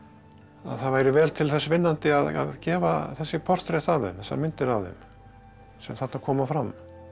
það væri vel til þess vinnandi að gefa þessi portrett af þeim þessar myndir af þeim sem þarna koma fram